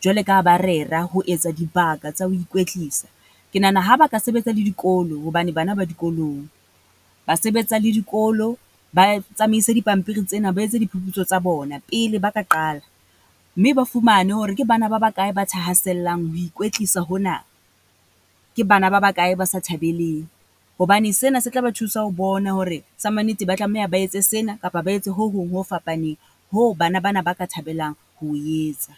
Jwale ka ha ba rera ho etsa dibaka tsa ho ikwetlisa. Ke nahana ha ba ka sebetsa le dikolo hobane bana ba dikolong. Ba sebetsa le dikolo, ba tsamaise di pampiri tsena, ba etse diphuputso tsa bona pele ba ka qala, mme ba fumane hore ke bana ba ba kae ba thahasellang ho ikwetlisa hona? Ke bana ba ba kae ba sa thabeleng? Hobane sena se tlaba thusa ho bona hore sa mannete ba tlameha ba etse sena kapa ba etse ho hong ho fapaneng, ho bana ba na ba ka thabelang ho o etsa.